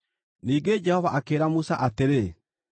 Ningĩ Jehova akĩĩra Musa atĩrĩ,